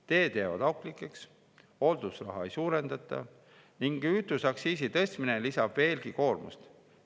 Teed jäävad auklikuks, hooldusraha ei suurendata ning kütuseaktsiisi tõstmine lisab veelgi koormust.